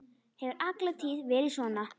Hefur alla tíð verið svona.